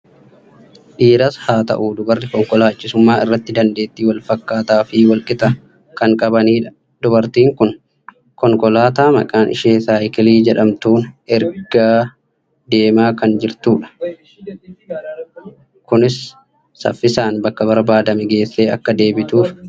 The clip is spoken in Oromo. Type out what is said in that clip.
Dhiiras haa ta'u dubarri konkolaachisummaa irratti dandeettii wal fakkaataa fi wal qixaa kan qabanidha. Dubartiin kun konkolaataa maqaan ishee saayikilii jedhamtuun ergaa deemaa kan jirtudha. Kunis saffisaan bakka barbaadame geessee akka deebituuf ishee kan gargaarudha.